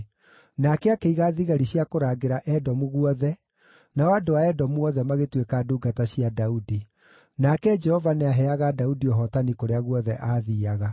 Nake akĩiga thigari cia kũrangĩra Edomu guothe, nao andũ a Edomu othe magĩtuĩka ndungata cia Daudi. Nake Jehova nĩaheaga Daudi ũhootani kũrĩa guothe aathiiaga.